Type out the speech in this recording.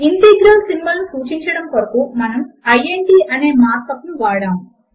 integral symbol ను సూచించడము కొరకు మనము ఇంట్ అనే మార్క్ అప్ ను వాడాము